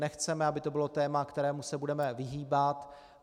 Nechceme, aby to bylo téma, kterému se budeme vyhýbat.